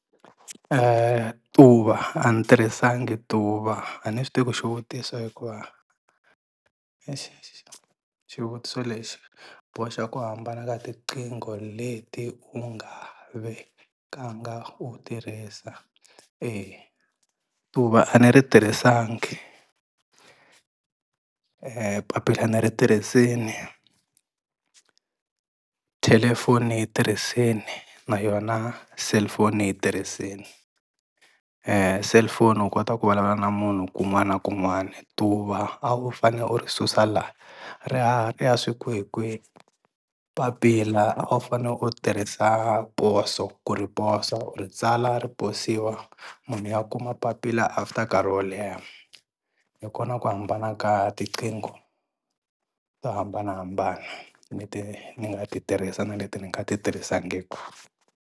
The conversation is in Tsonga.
tuva a ni tirhisangi tuva a ni swi tivi ku xivutiso hikuva xivutiso lexi boxa ku hambana ka tiqingho leti u nga vekanga u tirhisa, eya tuva a ni ri tirhisangi papila ni ri tirhisini, thelefoni ni yi tirhisini, na yona cellphone ni yi tirhisini, cellphone u kota ku vulavula na munhu kun'wani na kun'wani, tuva a wu fane u ri susa la ri haha ri ya swi kwihikwihi, papila a wu fane u tirhisa poso ku ri posa u ri tsala ri poswiwa, munhu ya kuma papila after nkarhi wo leha. Hi kona ku hambana ka tiqingho to hambanahambana leti ni nga ti tirhisa na leti ni nga ti tirhisiwangiki.